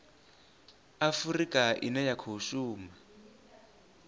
afurika ine ya khou shuma